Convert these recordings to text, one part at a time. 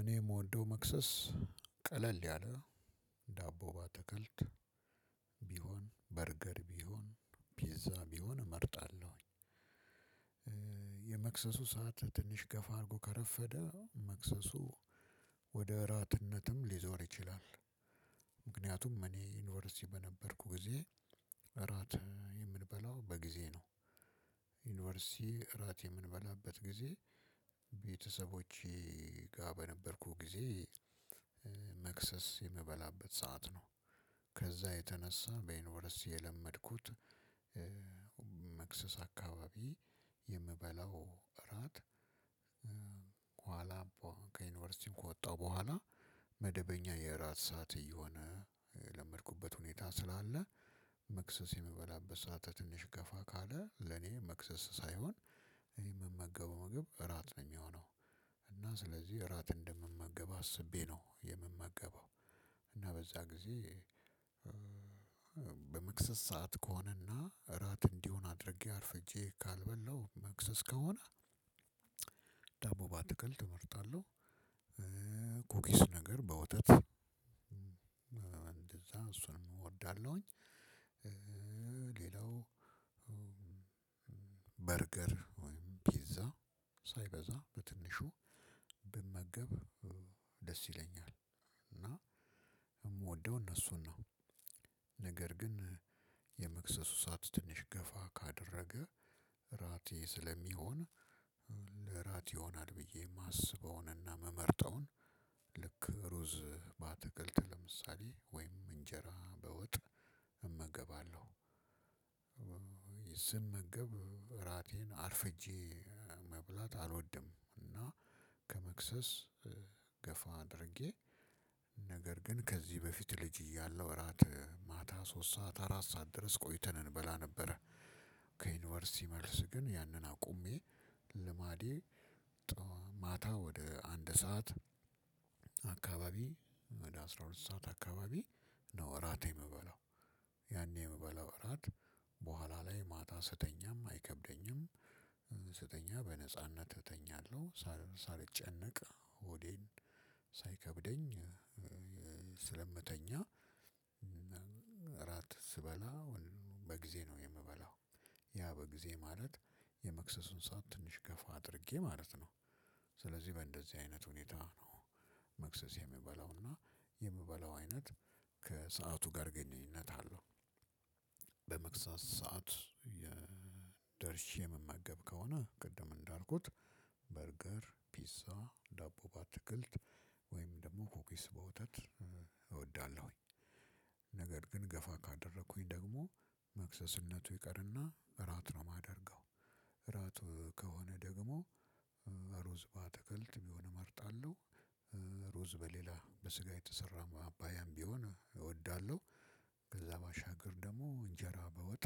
እኔ የምወደው መክሰስ ቀለል ያለ ዳቦ ባተከልት ቢሆን በርገር ቢሆን ፒዛ ቢሆን እመርጣለሁኝ። የመክሰሱ ሰዓት ትንሽ ገፋ አድርጎ ከረፈደ መክሰሱ ወደ እራትነትም ሊዞር ይችላል። ምክንያቱም እኔ ዩኒቨርሲቲ በነበርኩ ጊዜ እራት የምንበላው በጊዜ ነው ዩኒቨርሲቲ እራት የምንበላበት ጊዜ ቤተሰቦቼ ጋር በነበርኩት ጊዜ መክሰስ የምበላበት ሰዓት ነው። ከዛ የተነሳ በዩኒቨርሲቲ የለመድኩት መክሰስ አካባቢ የምበላው እራት ከኋላ ከዩኒቨርሲቲ ከወጣው በኋላ መደበኛ የእራት ሰዓት እየሆነ ለመድኩበት ሁኔታ ስላለ መክሰስ የምበላበት ሰዓት ትንሽ ገፋ ካለ ለኔ መክሰስ ሳይሆን እኔ የምመገበው ምግብ እራት ነው የሚሆነው እና ስለዚህ እራት እንደምመገብ አስቤ ነው የምመገበው እና በዛ ጊዜ በመክስስ ሰዓት ከሆነና እራት እንዲሆን አድርጌ አርፍጄ ካልበላሁ መክሰስ ከሆነ ዳቦ ባትክልት እመርጣለህ፣ ኩኪስ ነገር በወተት እንደዛ እሱን እወዳለሁኝ ሌላው በርገር ወይም ፒዛ ሳይበዛ በትንሹ ብመገብ ደስ ይለኛል እና የምወደው እነሱን ነው ነገር ግን የመክሰሱ ሰዓት ትንሽ ገፋ ካደረገ እራቴ ስለሚሆን ይሆናል ብዬ የማስበውንና የመመርጠውን ልክ ሩዝ ባትክልት ለምሳሌ ወይም እንጀራ በወጥ እመገባለሁ። ስመገብ እራቴን አርፍጄ መብላት አልወድም እና ከመክሰስ ገፋ አድርጌ ነገር ግን ከዚህ በፊት ልጅ እያለሁ እራት ማታ ሶስት ሰዓት አራት ሰዓት ድረስ ቆይተን እንበላ ነበረ ከዩኒቨርሲቲ መልስ ግን ያንን አቁሜ ልማዴ ማታ ወደ አንድ ስዓት አካባቢ ወደ አስራ ሁለት ሰዓት አካባቢ ነው እራት የምበላው ያኔ የምበላው እራት በኋላ ላይ ማታ ስተኛም አይከብደኝም። ስተኛ በነጻነት እተኛለሁ ሳልጨነቅ ሆዴን ሳይከብደኝ ስለምተኛ እራት ስበላ ወይ በጊዜ ነው የምበላው ያ በጊዜ ማለት የመክሰሱን ሰዓት ትንሽ ገፋ አድርጌ ማለት ነው። ስለዚህ በእንደዚህ አይነት ሁኔታ ነው መክሰስ የምበለው እና የምበለው አይነት ከሰአቱ ጋር ግንኙነት አለው። በመክሰስ ሰዓት የደርሼ የመመገብ ከሆነ ቅድም እንዳልኩት በርገር፣ ፒዛ ዳቦ ባትክልት፣ ወይም ደግሞ ኮኬስ በወተት እወዳለሁኝ። ነገር ግን ገፋ ካደረኩኝ ደግሞ መክሰስነቱ ይቀርና እራት ነው የማደርገው እራት ከሆነ ደግሞ ሩዝ በአትክልት ቢሆን እመርጣለሁ። ሩዝ በሌላ በስጋ የተሰራ ማባያም ቢሆን እወዳለሁ። ከዛ ባሻገር ደግሞ እንጀራ በወጥ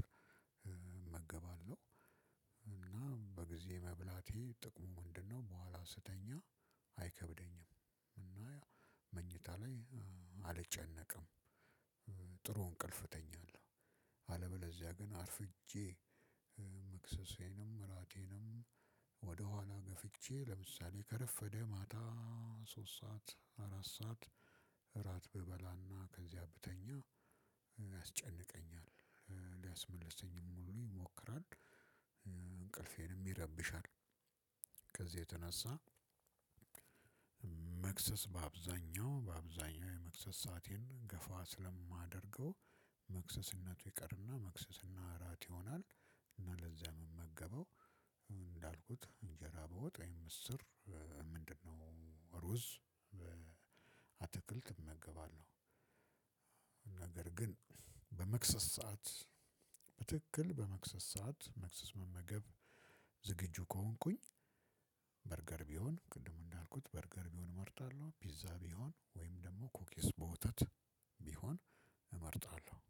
እመገባለሁ እና በጊዜ መብላቴ ጥቅሙ ምንድነው በኋላ ስተኛ አይከብደኝም እና መኝታ ላይ አልጨነቀም። ጥሩ እንቅልፍ እተኛለሁ አለበለዚያ ግን አርፍጄ መክሰሴንም እራቴንም ወደኋላ ገፍቼ ለምሳሌ ከረፈደ ማታ ሶስት ሰዓት አራት ሰዓት እራት ብበላና ከዚያ ብተኛ ያስጨንቀኛል ሊያስመልሰኝም ሁሉ ይሞክራል እንቅልፌንም ይረብሻል ከዚህ የተነሳ መክሰስ በአብዛኛው በአብዛኛው የመክሰ ሳአቴን ገፋ ስለማደርገው መክሰስነቱ ይቀርና መክሰስ እና እራት ይሆናል እና ለዚያ ምመገበው እንዳልኩት እንጀራ በውጥ ወይም ምስር ምንድነው ሩዝ አትክልት እመገባለሁ ነገር ግን በመክሰስ ሰዓት በትክክል በመክሰስ ሰዓት መክሰስ መመገብ ዝግጁ ከሆንኩኝ በርገር ቢሆን ቅድሙ እንዳልኩት በርገር ቢሆን እመርጣለሁ ፒዛ ቢሆን ወይም ደግሞ ኮኪስ በወተት ቢሆን እመርጣለሁ።